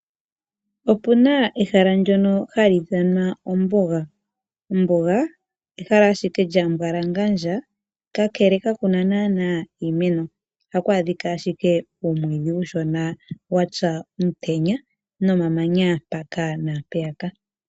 Opuna ehala ndyono hali ithanwa ombuga, ombuga ehala ashike lya mbwalangandya kakele kakuna nana iimeno ohaku adhika ashike uumwidhi uushona wapya omutenya nomamanya mpaka nampeyaka.